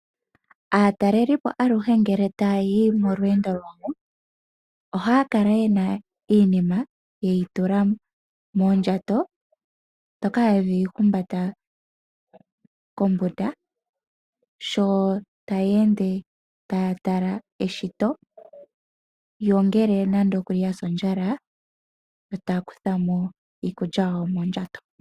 Aatalelipo aluhe ngele tayayi molweendo lwawo, ohaya kala yena iinima yeyi tula moondjato ndhoka yedhi humbata kombunda. Sho taya ende , taya tala eshito . Ngele yasi ondjala ohaya kuthamo iikulya yawo mondjato.